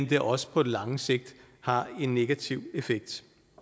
det også på lang sigt har en negativ effekt